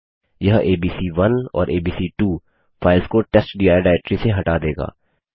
यह एबीसी1 और एबीसी2 फाइल्स को टेस्टडिर डाइरेक्टरी से हटा देगा